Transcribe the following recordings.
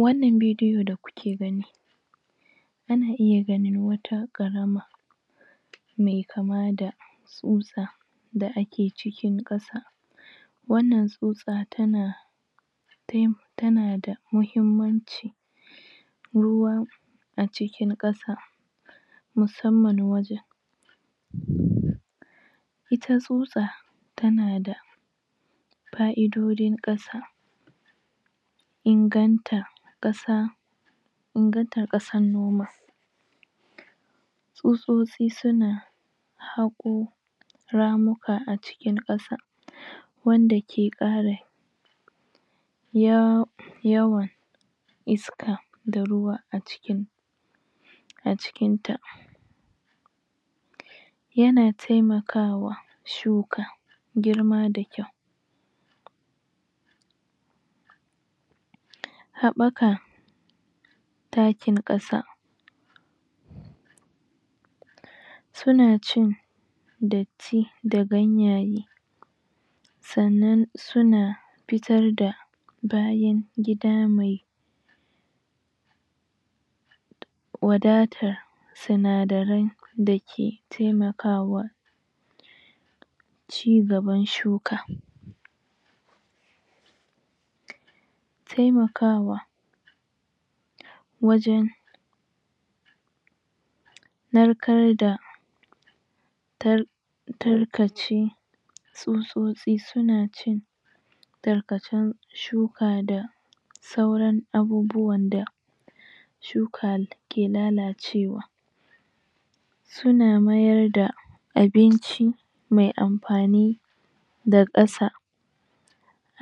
wannan bidiyo da kuke gani ana iya ganin wata ƙarama mai kama da ƙusa da ake ciki ƙasa wannan tsutsa tana tana da muhimmanci ruwan a cikin ƙasa musamman wajen?? ita tsutsa tana da fa'idojin ƙasa inganta ƙasa inganta ƙasar noma tsutsotsi suna haƙo ramuka a cikin ƙasa wanda ke ƙara ya yawan iska da ruwa a cikin a cikin ta yana taimakawa shuka girma da kyau haɓaka takin ƙasa suna cin datti da ganyaye sannan suna fitar da bayan gida mai wadatar sinadaran da ke taimakawa cigaban shuka taimakawa wajen narkar da tarkaci tsutsotsi suna cin tarkacen shuka da sauran abubuwan da shuka ke lalacewa suna mayar da abinci mai amfani da ƙasa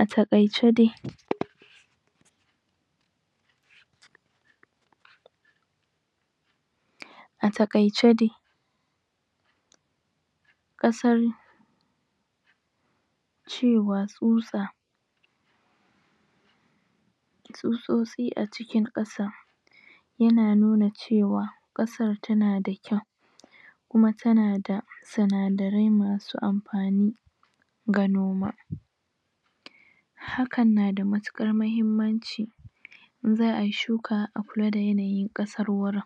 a taƙaice dai a taƙaice dai ƙasar cewa tsutsa tsutsosin a cikin ƙasa yana nuna cewa ƙasar tana da kyau kuma tana da sinadarai masu amfani ga noma hakan na da matuƙar muhimmanci in za ayi shuka a kula da yanayin ƙasar wurin